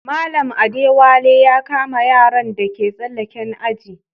Mallam Adewale ya kama yaran da ke tsalaken aji.